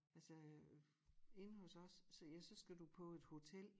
Altså øh inde hos os så ja så skal du på et hotel